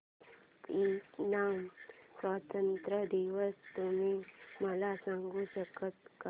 Vietnam स्वतंत्रता दिवस तुम्ही मला सांगू शकता का